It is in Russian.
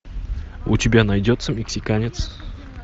у тебя найдется мексиканец